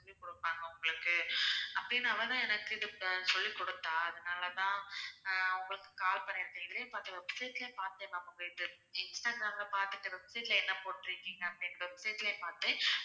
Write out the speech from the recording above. சொல்லி கொடுப்பாங்க உங்களுக்கு அப்படின்னு அவ தான் எனக்கு சொல்லி கொடுத்தா அதனால தான் அஹ் உங்களுக்கு call பண்ணியிருக்கேன் இதுலயும் பார்த்தேன் website லயும் பார்த்தேன் ma'am உங்க இது instagram ல பார்த்துட்டு website ல என்ன போட்டு இருக்கீங்க அப்படின்னு website லயும் பார்த்தேன்